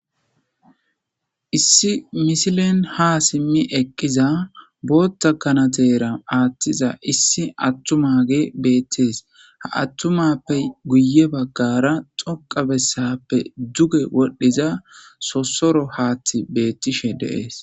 issi misilen ha simmi eqqiza bootta kanatera aathtiza issi attumage beettees ha attumappe guye baggara xoqa bessappe duge wodhdhiza sossoro haaththi beettishe deees